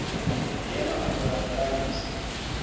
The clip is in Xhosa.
yema khona balalise